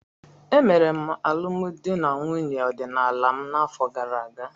Emere m alụmdi na nwunye ọdịnala m n'afọ gara aga.